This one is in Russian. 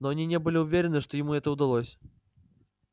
но они не были уверены что им это удалось